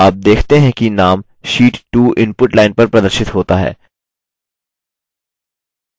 आप देखते हैं कि name sheet 2 input line पर प्रदर्शित होता है